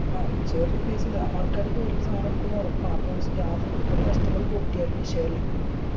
ആ ചെറിയ paisa എന്നെ. ആൾക്കാര് കേറിട്ട് സാനം എടുക്കുംന്ന് ഉറപ്പാണ് അപ്പൊ staff ഒരു customer പൊട്ടിയാല് വിഷയല്ല